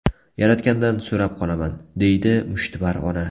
Yaratgandan so‘rab qolaman”, deydi mushtipar ona.